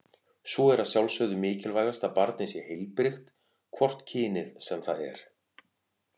Svo er að sjálfsögðu mikilvægast að barnið sé heilbrigt, hvort kynið sem það er.